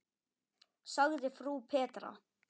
sagði frú Petra.